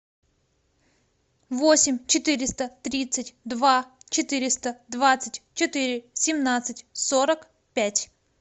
восемь четыреста тридцать два четыреста двадцать четыре семнадцать сорок пять